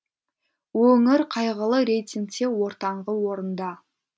өңір қайғылы рейтингте ортаңғы орында